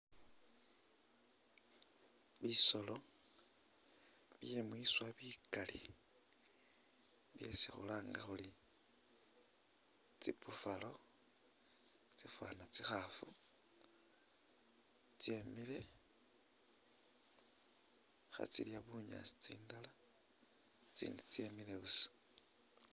Bisolo byemwiswa bikali byesi khulanga khuri tsi Buffalo itsafana tsikhafu tsemile khatsilya bunyaasi tsindala itsindi tsemile busa.